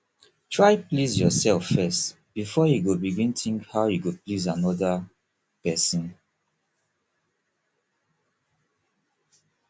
try please yourself first before you begin think how you go please another persin